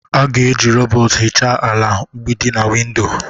A ga-eji rọbọt ihicha ala, mgbidi, na windo.